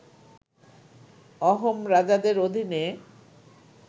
অহোম রাজাদের অধীনে